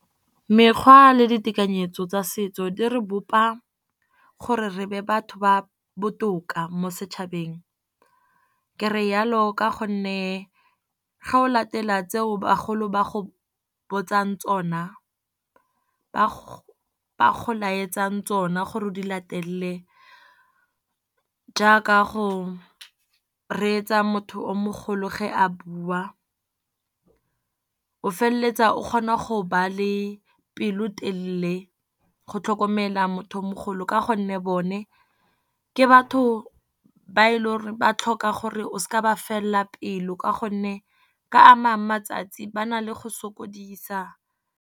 Mekgwa le ditekanyetso tsa setso di re bopa gore re be batho ba botoka mo setšhabeng. Ke re yalo ka gonne ga o latela tseo bagolo ba go botsang tsona, ba go laetsang tsona gore o di latele, jaaka go reetsa motho o mogolo ge a bua. O feleletsa o kgona go ba le pelo telele go tlhokomela motho o mogolo, ka gonne bone ke batho ba e leng gore ba tlhoka gore o seka oa ba felela pelo, ka gonne ka amang matsatsi ba na le go sokodisa.